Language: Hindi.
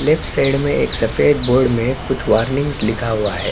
लेफ्ट साइड में एक सफेद बोर्ड में कुछ वार्निंग्स लिखा हुआ है।